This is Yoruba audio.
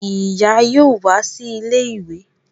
Ìyá yóò wá sí ilé ìwé